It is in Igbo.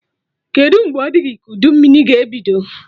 Kedụ mgbe ọ dị gị ka udu mmiri ga ebido?